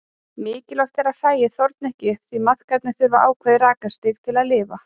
Mikilvægt er að hræið þorni ekki upp því maðkarnir þurfa ákveðið rakastig til að lifa.